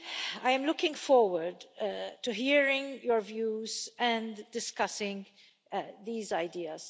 I am looking forward to hearing your views and discussing these ideas.